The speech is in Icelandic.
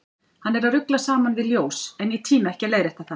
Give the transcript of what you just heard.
Hann er að rugla saman við ljós, en ég tími ekki að leiðrétta það.